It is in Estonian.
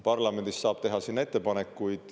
Parlamendis saab teha sinna ettepanekuid.